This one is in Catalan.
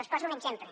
els poso un exemple